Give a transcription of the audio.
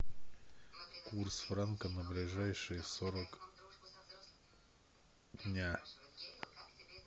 курс франка на ближайшие сорок дня